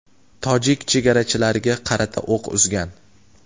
tojik chegarachilariga qarata o‘q uzgan.